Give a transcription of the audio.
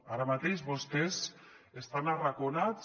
ara mateix vostès estan arraconats